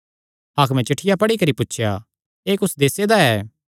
हाकमे चिठ्ठिया पढ़ी करी पुछया एह़ कुस देसे दा ऐ